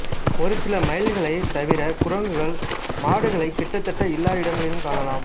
ஒரு சில மயில்களைத் தவிர குரங்குகள் மாடுகளை கிட்டத்தட்ட எல்லா இடங்களிலும் காணலாம்